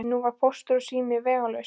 Nú var Póstur og sími vegalaus.